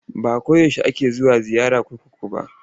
Ba ko yaushe ake zuwa ziyara kurkuku ba.